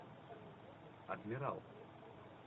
адмирал